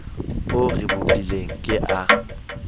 o re bopileng ke a